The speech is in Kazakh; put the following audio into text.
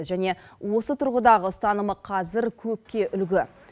және осы тұрғыдағы ұстанымы қазір көпке үлгі